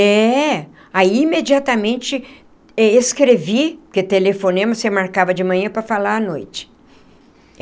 É... aí imediatamente escrevi... porque telefonema você marcava de manhã para falar à noite.